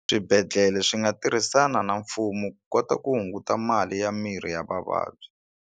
Swibedhlele swi nga tirhisana na mfumo ku kota ku hunguta mali ya mirhi ya vavabyi.